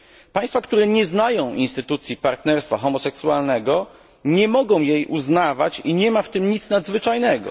Państwa, które nie znają instytucji partnerstwa homoseksualnego, nie mogą jej uznawać i nie ma w tym nic nadzwyczajnego.